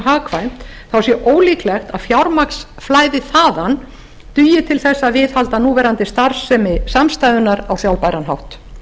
á grundartanga sé mjög ólíklegt að fjármagn flæði þaðan og dugi til þess að viðhalda núverandi starfsemi samstæðunnar á sjálfbæran hátt